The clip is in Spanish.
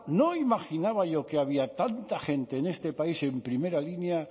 no imaginaba yo que había tanta gente en este país en primera línea